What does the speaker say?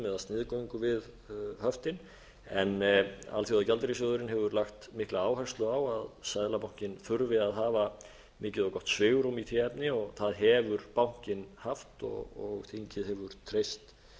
sniðgöngu við höftin en alþjóðagjaldeyrissjóðurinn hefur lagt mikla áherslu á að seðlabankinn þurfi að hafa mikið og gott svigrúm í því efni og það hefur bankinn haft og þingið hefur treyst